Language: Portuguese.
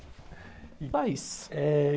É...